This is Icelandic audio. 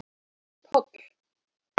Páll